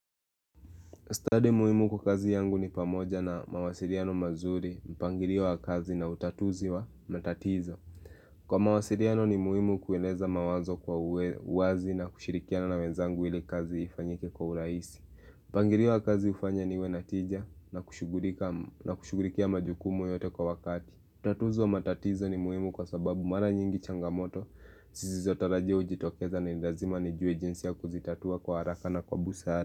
Study muhimu kwa kazi yangu ni pamoja na mawasiliano mazuri, mpangilio wa kazi na utatuzi wa matatizo. Kwa mawasiliano ni muhimu kueleza mawazo kwa uwe wazi na kushirikia na wenzangu ili kazi ifanyike kwa uraisi. Mpangilio wa kazi ufanya niwe na teja na kushughulikia majukumu yote kwa wakati. Utatuzi wa matatizo ni muhimu kwa sababu mara nyingi changamoto, zisizotarajia ujitokeza na ni lazima nijue jinsi ya kuzitatua kwa haraka na kwa busara.